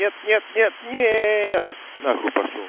нет нет нет нет на хуй пошёл